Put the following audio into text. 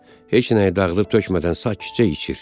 Heç nəyi dağıdıb tökmədən sakitcə içir.